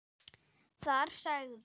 Þar sagði